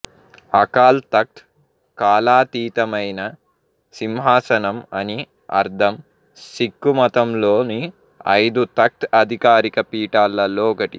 అకాల్ తఖ్త్ కాలాతీతమైన సింహాసనం అని అర్థం సిక్ఖు మతంలోని ఐదు తఖ్త్ అధికారిక పీఠాలు ల్లో ఒకటి